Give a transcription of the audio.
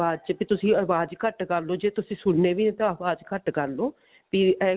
ਆਵਾਜ਼ ਚ ਤੇ ਤੁਸੀਂ ਆਵਾਜ਼ ਘੱਟ ਕਰ ਲਓ ਜੇ ਤੁਸੀਂ ਸੁਣਨੇ ਵੀ ਤਾ ਅਵਾਜ਼ ਘੱਟ ਕਰ ਲਓ ਵੀ ਇਹ